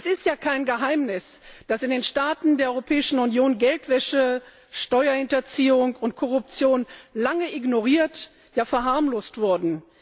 Es ist ja kein Geheimnis, dass in den Staaten der Europäischen Union Geldwäsche, Steuerhinterziehung und Korruption lange ignoriert, ja verharmlost wurden.